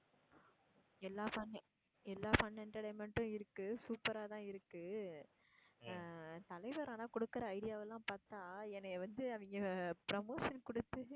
எல்லா fun எல்லா fun entertainment உம் இருக்கு super ஆதான் இருக்கு அஹ் தலைவர் ஆனா கொடுக்கிற idea வ எல்லாம் பார்த்தா என்னைய வச்சு அவங்க promotion கொடுத்து